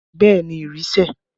Bẹẹ ni, ìrì sẹ̀